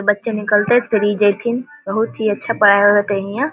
अ इ बच्चे निकलते फिर ई जयथीन बहुत ही अच्छा पढ़ाय होय हेते हिया ।